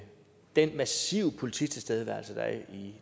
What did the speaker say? den massive polititilstedeværelse